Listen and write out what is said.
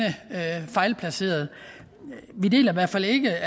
fejlplacerede vi deler i hvert fald ikke